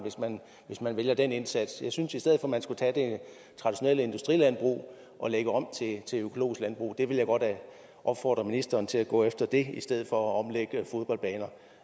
hvis man vælger den indsats jeg synes i stedet for at man skulle tage det traditionelle industrilandbrug og lægge det om til økologisk landbrug jeg vil godt opfordre ministeren til at gå efter det i stedet for at omlægge fodboldbaner